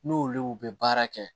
N'olu bɛ baara kɛ